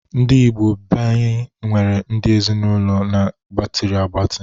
Ndi Igbo beanyi nwere udi Ezinụlọ ndị gbatịrị agbatị